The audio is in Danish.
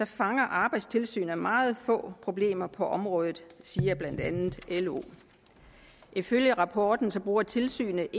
fanger arbejdstilsynet meget få problemer på området siger blandt andet lo ifølge rapporten bruger tilsynet